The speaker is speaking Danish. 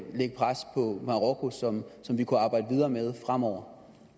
lægge pres på marokko som som vi kunne arbejde videre med fremover